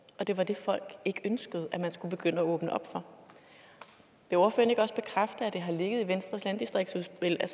og det var det folk ikke ønskede at man skulle begynde at åbne op for vil ordføreren ikke også bekræfte at det har ligget i venstres landdistriktsudspil at